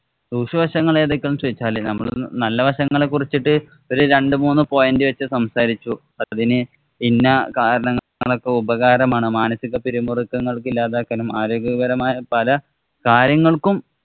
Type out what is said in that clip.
ദൂഷ്യവശങ്ങള്‍ ഏതൊക്കെയാ എന്ന് ചോദിച്ചാല് നമ്മള് നല്ല വശങ്ങളെ കുറിച്ചിട്ടു ഒരു രണ്ടുമൂന്നു point വച്ച് സംസാരിച്ചു. അതിനു ഇന്ന കാരണ ഒക്കെ ഉപകാരമാണ്. മാനസിക് പിരിമുറുക്കങ്ങള്‍ ഇല്ലാതാക്കാനും, ആരോഗ്യകരമായ പല കാര്യങ്ങള്‍ക്കും